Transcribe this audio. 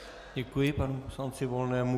Děkuji panu poslanci Volnému.